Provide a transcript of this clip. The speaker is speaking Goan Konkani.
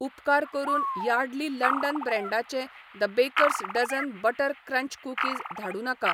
उपकार करून यार्डली लंडन ब्रँडाचें the Baker's Dozen butter crunch cookies धाडूं नाका.